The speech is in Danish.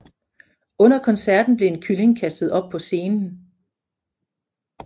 Under koncerten blev en kylling kastet op på scenen